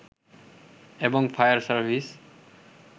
এবং fire service